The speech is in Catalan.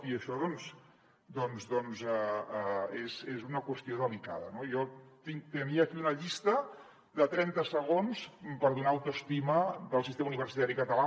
i això doncs és una qüestió delicada no jo tenia aquí una llista de trenta segons per donar autoestima del sistema universitari català